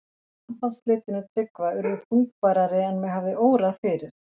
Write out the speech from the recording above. Sambandsslitin við Tryggva urðu þungbærari en mig hafði órað fyrir.